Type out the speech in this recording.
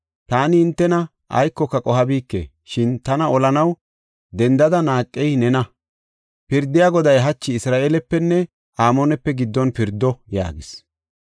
Taani hintena aykoka qohabike; shin tana olanaw dendada naaqey nena. Pirdiya Goday hachi Isra7eelepenne Amoonepe giddon pirdo” yaagis.